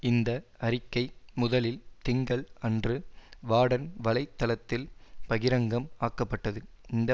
இந்த அறிக்கை முதலில் திங்கள் அன்று வாடன் வலை தளத்தில் பகிரங்கம் ஆக்கப்பட்டது இந்த